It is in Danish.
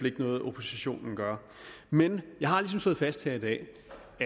ikke noget oppositionen gør men jeg har ligesom slået fast her i dag